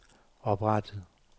oprettet